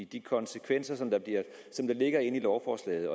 de konsekvenser som lovforslaget